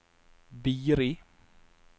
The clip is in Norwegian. Biri